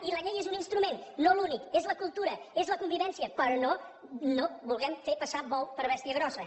i la llei és un instrument no l’únic és la cultura és la convivència però no vulguem fer passar bou per bèstia grossa